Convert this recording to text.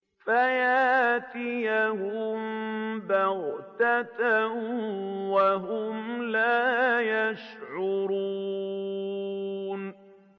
فَيَأْتِيَهُم بَغْتَةً وَهُمْ لَا يَشْعُرُونَ